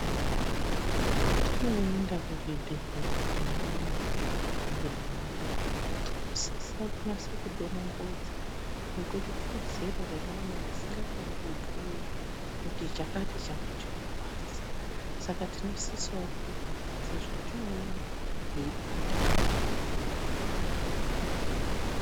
Patinoenda kuzvibhedhera nevana veirwara, tinosisa kunaso kudonongodza nekuti kune zera remwana risingakoni kubhuyaa kuti chakati changu chinorwadza, saka tinosisavo kudonongodza zvatinoona eibata, panguva yakona iyoyo.